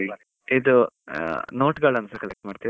ಇದು note ಗಳ್ಳನ್ನು collect ಮಾಡ್ತೀರಿ?